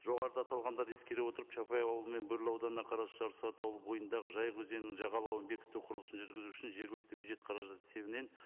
жоғарыда аталғандарды ескере отырып чапай ауылы мен бөрлі ауданына қарас жарсуат ауылы бойындағы жайық өзенінің жағалауын бекіту құрылысын жүргізу үшін жергілікті бюджет қаражат есебінен